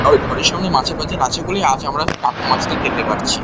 আরো ঘরের সামনে মাছের বাজার আছে বলেই আজ আমরা টাটকা মাছটা খেতে পারছি।